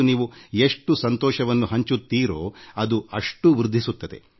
ನೀವು ಸಂತೋಷವನ್ನು ಹಂಚಿಕೊಳ್ಳುತ್ತಿರೋ ಅದು ಅಷ್ಟು ಗುಣಿತವಾಗುತ್ತದೆ